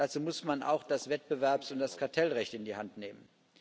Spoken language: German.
Dazu muss man auch das Wettbewerbs und das Kartellrecht in die Hand nehmen.